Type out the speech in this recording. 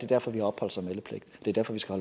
derfor de har opholds og meldepligt det er derfor vi skal